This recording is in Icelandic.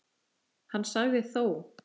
Hann sagði þó